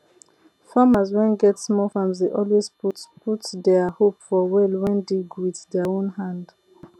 farmers wen get small farms dey always put put dier hope for well wen dig wit dier own hand